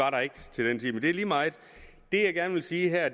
ikke det er lige meget det jeg gerne vil sige her